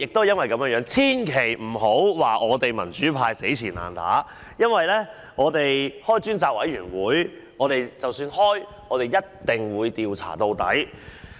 因此，千萬不要說我們民主派"死纏爛打"，因為如果能夠成立專責委員會，我們一定調查到底。